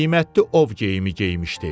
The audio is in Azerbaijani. Qiymətli ov geyimi geyinmişdi.